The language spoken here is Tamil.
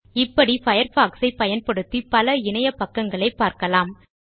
இப்படி Firefoxசை பயன்படுத்தி பல இணைய பக்கங்களை பார்க்கலாம்